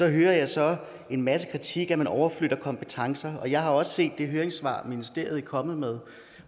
hører jeg så en masse kritik altså at man overflytter kompetencer jeg har også set det høringssvar ministeriet er kommet med